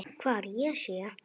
Hvar ég sé.